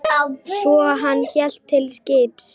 Svo hélt hann til skips.